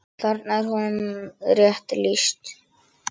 Þarna er honum rétt lýst.